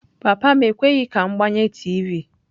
Papa m ekweghị ka m gbanye tiivi.